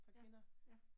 Ja, ja